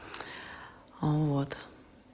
а вот